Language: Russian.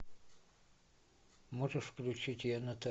можешь включить